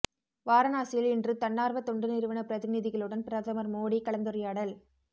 வாரனாசியில் இன்று தன்னார்வ தொண்டு நிறுவன பிரதிநிதிகளுடன் பிரதமர் மோடி கலந்துரையாடல்